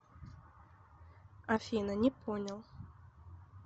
афина не понял